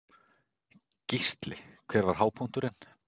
Gísli: Hver var hápunkturinn?